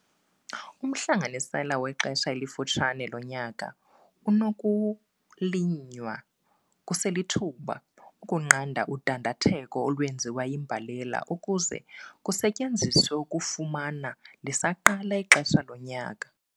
Umhlanganisela wexesha elifutshane lonyaka unokulinywa kuselithuba ukunqanda udandatheko olwenziwa yimbalela ukuze kusetyenziswe ukufuma lisaqala ixesha lonyaka.